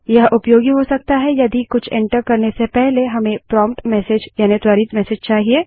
यह उपयोगी हो सकता है यदि कुछ एंटर करने से पहले हमें प्रोम्प्ट मेसेज यानि त्वरित मेसेज चाहिए